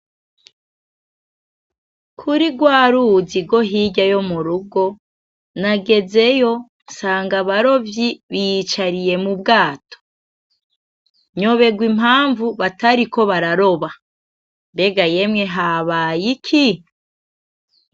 Kuri rwa ruzi rwo hirya yo mu rugo, nagezeyo nsanga abarovyi bicaye mu bwato, nyoberwa impamvu batariko bararoba mbega yemwe habaye iki?